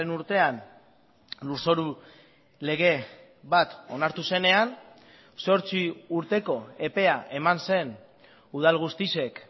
urtean lurzoru lege bat onartu zenean zortzi urteko epea eman zen udal guztiek